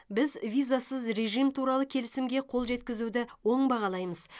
біз визасыз режим туралы келісімге қол жеткізуді оң бағалаймыз